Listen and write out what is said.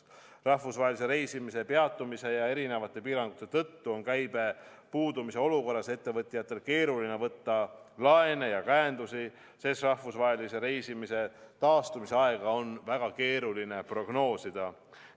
Rahvusvahelise reisimise peatumise ja erinevate piirangute tõttu on käibe puudumise olukorras ettevõtjatel keeruline võtta laene ja käendusi, sest rahvusvahelise reisimise taastumise aega on väga keeruline prognoosida.